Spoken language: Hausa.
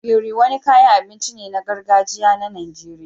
Ogiri, wani kayan abinci ne na gargajiya na Najeriya